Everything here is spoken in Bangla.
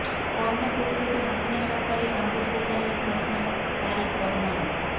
করোনা প্রতিরোধে হাসিনা সরকারের আন্তরিকতা নিয়ে প্রশ্ন তারেক রহমানের